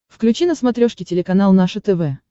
включи на смотрешке телеканал наше тв